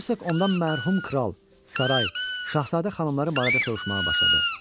Hercoq ondan mərhum kral, saray, şahzadə xanımları barədə soruşmağa başladı.